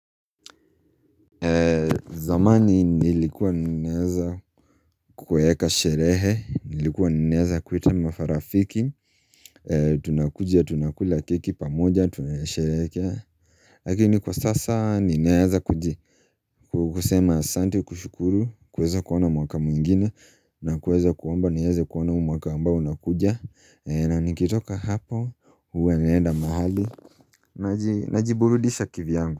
Zamani nilikuwa nineaza kukueka sherehe, nilikuwa nineaza kuwaita mafarafiki, tunakujia, tunakula keki pamoja, tunasherehekea Lakini kwa sasa nineaza kuji Kukusema asante kushukuru, kuweza kuona mwaka mwigine, na kueza kuomba niweze kuona mwaka ambao unakuja, na nikitoka hapa huwa naenda mahali Najiburudisha kivyangu.